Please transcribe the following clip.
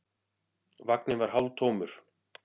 Vagninn var hálftómur.